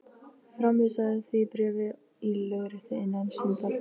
Framvísaðu því bréfi í lögréttu innan stundar.